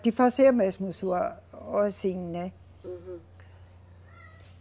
De fazer mesmo a sua, assim, né? Uhum.